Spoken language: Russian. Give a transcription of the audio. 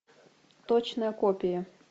точная копия